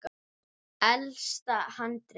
Elsta handrit